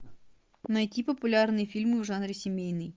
найти популярные фильмы в жанре семейный